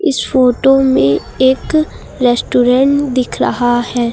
इस फोटो में एक रेस्टोरेंट दिख रहा है।